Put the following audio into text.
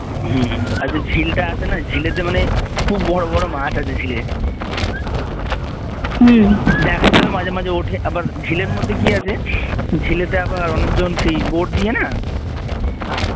হম ওই যে ঝিলটা আছে না ঝিলেতে মানে খুব বড় বড় মাছ আছে ঝিলে দেখা যায় মাঝে মাঝে ওঠে আবার ঝিলের মধ্যে কি আছে ঝিলেতে আবার অনেকজন সেই boat দিয়ে না